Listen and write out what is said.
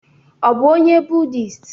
Ọ bụ onye budist?